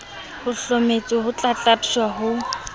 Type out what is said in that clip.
ho hlometswe ho tlatlaptjwa ha